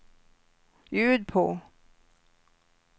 ljud på